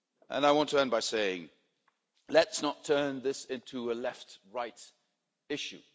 I want to end by saying, let's not turn this into a left right issue.